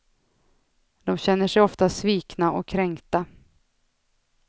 De känner sig ofta svikna och kränkta.